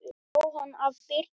Jóhann: Af Birnu?